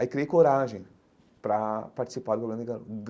Aí criei coragem pra participar do.